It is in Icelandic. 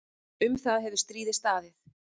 Um það hefur stríðið staðið.